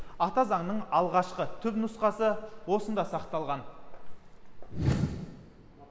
ата заңның алғашқы түпнұсқасы осында сақталған